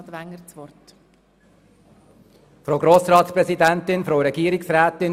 Ich gebe Grossrat Wenger das Wort.